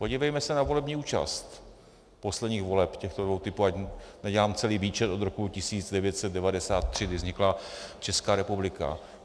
Podívejme se na volební účast posledních voleb těchto dvou typů, ať nedělám celý výčet od roku 1993, kdy vznikla Česká republika.